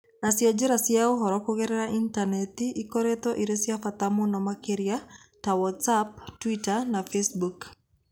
Nacio njĩra cia ũhoro kũgerera intaneti nĩ ikoretwo irĩ cia bata mũno, makĩria ta WhatsApp, Twitter, na Facebook.